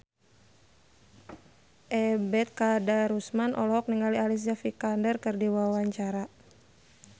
Ebet Kadarusman olohok ningali Alicia Vikander keur diwawancara